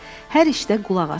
Hər işdə qulaq as.